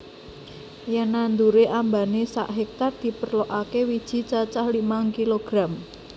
Yen nandure ambane sak hektar diperlokake wiji cacah limang kilogram